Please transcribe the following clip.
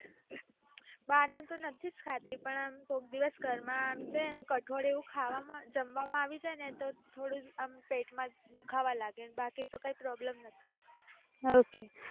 બાર નું તો નથીજ ખાતી પણ કોક દિવસ ઘર માં કઠોળ ખાવામાં જમવામાં આવી જાય ને તો પેટ માં દુખાવા લાગે